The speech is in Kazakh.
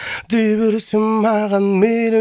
дей берсін маған мейлі